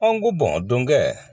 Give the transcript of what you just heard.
An ko bɔn donkɛ